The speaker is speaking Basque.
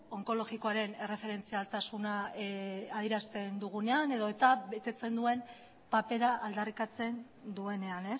onkologikoaren erreferentzialtasuna adierazten dugunean edota betetzen duen papera aldarrikatzen duenean